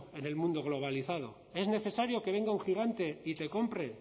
en el mundo globalizado es necesario que venga a un gigante y te compre